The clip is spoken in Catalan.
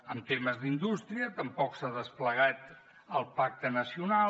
en temes d’indústria tampoc s’ha desplegat el pacte nacional